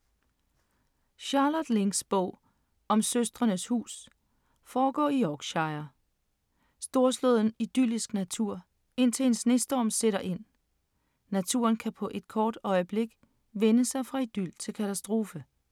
Charlotte Links bog Søstrenes hus foregår i Yorkshire. Storslået idyllisk natur, indtil en snestorm sætter ind. Naturen kan på et kort øjeblik vende sig fra idyl til katastrofe.